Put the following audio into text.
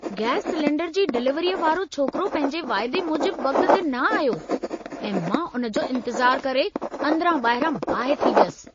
Gas cylinder जी डिलीवरीअ वारो छोकिरो पंहिंजे वाइदे मूजिबि वक़्त ते न आयो ऐं मां उन जो इंतिज़ारु करे अंदरां-ॿाहिरां बाहि थी वयसि।